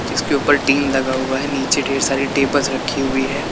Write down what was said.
जिसके ऊपर टीन लगा हुआ है नीचे ढेर सारी टेबल्स रखी हुई है।